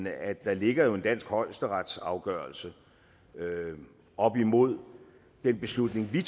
at der ligger en dansk højesteretsafgørelse op imod den beslutning vi